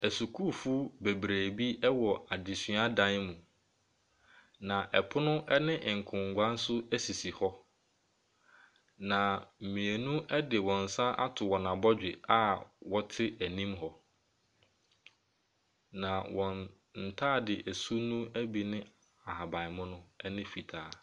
Asukuufo bebree bi wɔ adesua dan mu. Na pono ne nkonnwa nso sisi hɔ. Na mmienu de wɔn nsa ato wɔn abɔdwe a wɔte anim hɔ. Na wɔn ntaade su no bi ne ahabanmono ne fitaa.